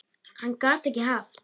Hann gat ekki haft